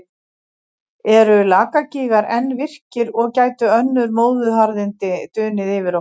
Eru Lakagígar enn virkir og gætu önnur móðuharðindi dunið yfir okkur?